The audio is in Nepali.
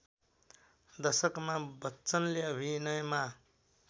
दशकमा बच्चनले अभिनयमा